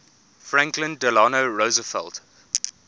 franklin delano roosevelt